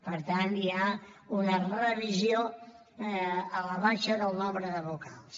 per tant hi ha una revisió a la baixa del nombre de vocals